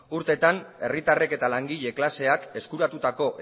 urteetan herritarrek eta langile klaseak eskuratutako